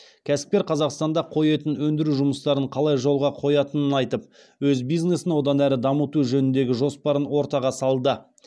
кәсіпкер қазақстанда қой етін өндіру жұмыстарын қалай жолға қоятынын айтып өз бизнесін одан әрі дамыту жөніндегі жоспарын ортаға салды